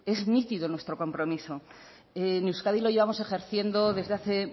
es nítido nuestro compromiso en euskadi lo llevamos ejerciendo desde hace